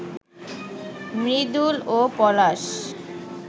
মৃদুল ও পলাশ